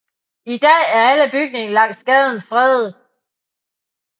I dag er alle bygninger langs gaden fredet